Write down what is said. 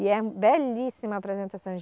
E é belíssima a apresentação.